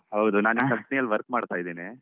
ಹಾ ಹೌದು ನಾನ್ ಆ company ಲ್ work ಮಾಡ್ತಾ ಇದ್ದೀನಿ.